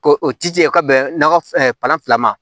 Ko o tiga bɛnna fan fila ma